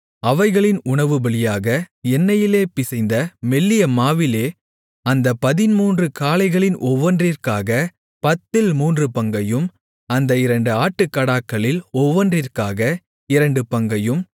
அவைகளின் உணவுபலியாக எண்ணெயிலே பிசைந்த மெல்லிய மாவிலே அந்தப் பதின்மூன்று காளைகளில் ஒவ்வொன்றிற்காகப் பத்தில் மூன்று பங்கையும் அந்த இரண்டு ஆட்டுக்கடாக்களில் ஒவ்வொன்றிற்காக இரண்டு பங்கையும்